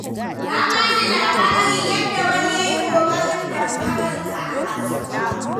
Ta ba ni labarin yadda wani ya yi ƙoƙarin damfarar ta a kasuwa.